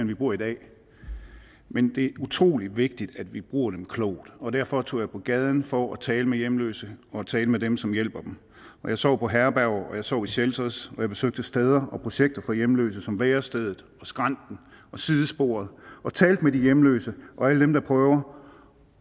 vi bruger i dag men det utrolig vigtigt at vi bruger dem klogt og derfor tog jeg på gaden for at tale med hjemløse og tale med dem som hjælper dem jeg sov på herberg jeg sov i shelters og jeg besøgte steder og projekter for hjemløse som værestedet skrænten og sidesporet og talte med hjemløse og alle dem der prøver